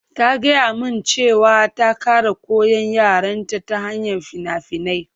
Ta gaya min cewa ta ƙara koyan yarenta ta hanyar fina-finai